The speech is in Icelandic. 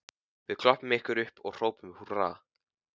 Við klöppum ykkur upp og hrópum húrra